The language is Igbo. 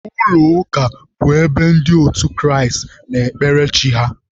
Ụlọ ụka bụ ebe ndị otu Kraịst na-ekpere Chi ha